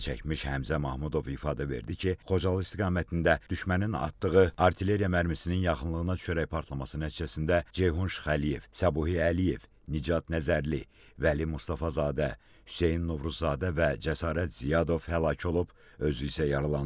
Zərər çəkmiş Həmzə Mahmudov ifadə verdi ki, Xocalı istiqamətində düşmənin atdığı artilleriya mərmisinin yaxınlığına düşərək partlaması nəticəsində Ceyhun Şıxəliyev, Səbuhi Əliyev, Nicat Nəzərli, Vəli Mustafazadə, Hüseyn Novruzadə və Cəsarət Ziyadov həlak olub, özü isə yaralanıb.